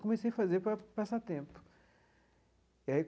Comecei a fazer para passar tempo.